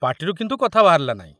ପାଟିରୁ କିନ୍ତୁ କଥା ବାହାରିଲା ନାହିଁ।